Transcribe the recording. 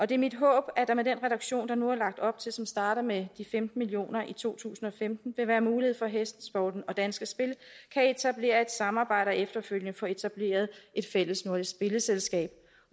det er mit håb at der med den reduktion der nu er lagt op til og som starter med de femten million kroner i to tusind og femten vil være mulighed for at hestesporten og danske spil kan etablere et samarbejde og efterfølgende få etableret et fællesnordisk spilleselskab